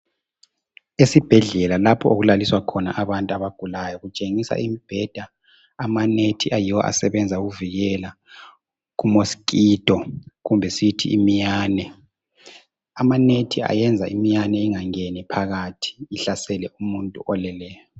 Esibhedlela lapho okulaliswa khona abantu abagulayo kutshengisa imibheda, amanethi ayiwo asebenza ukuvikela ku mosquito kumbe siyithi imiyane. Ama nethi ayenza imayane ingangeni phakathi ihlasele umuntu oleleyo.